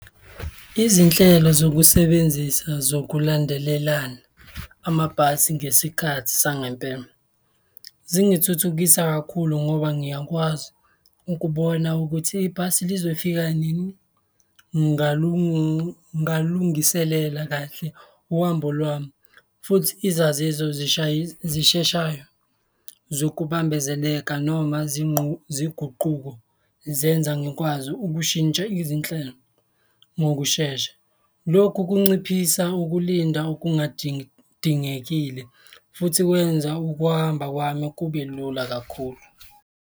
Izinhlelo zokusebenzisa zokulandelelana amabhasi ngesikhathi sangempela zingithuthukisa kakhulu ngoba ngiyakwazi ukubona ukuthi ibhasi lizofika nini. Ngingalungiselela kahle uhambo lwami futhi izaziso zisheshayo zokubambezeleka noma ziguquko, zenza ngikwazi ukushintsha izinhlelo ngokushesha. Lokhu kunciphisa ukulinda okunga dingekile futhi kwenza ukuhamba kwami kube lula kakhulu.